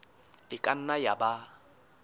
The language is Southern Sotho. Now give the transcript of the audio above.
e ka nna ya ba